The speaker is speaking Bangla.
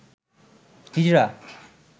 হিজরা